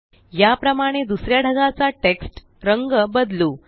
या प्रमाणे दुसऱ्या ढगाचा टेक्स्ट रंग बदलू